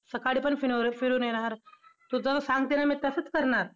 सकाळी पण फिर~फिरून येणार. तू जसं सांगते ना, मी तसंच करणार!